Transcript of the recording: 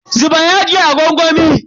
Zuba yajin a gwangwami.